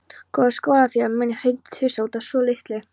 Góður skólafélagi minn hringdi tvisvar út af svolitlu.